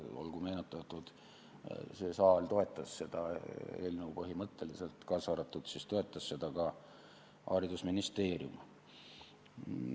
Olgu meenutatud, et see saal seda eelnõu põhimõtteliselt toetas, seda toetas ka haridusministeerium.